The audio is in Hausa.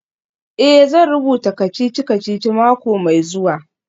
Eh, zan rubuta kacici-kacici mako mai zuwa.